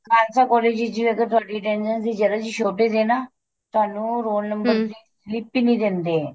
Khalsa college ਵਿੱਚ ਅਗਰ ਤੁਹਾਡੀ attendance ਦੀ ਜਰਾ ਜੀ shortage ਏ ਨਾ ਤੁਹਾਨੂੰ roll ਦੀ slip ਈ ਨਹੀਂ ਦਿੰਦੇ